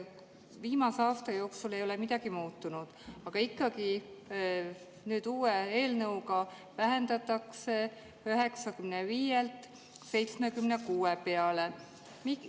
Viimase aasta jooksul ei ole midagi muutunud, aga nüüd uue eelnõuga ikkagi vähendatakse seda 95-lt 76 peale.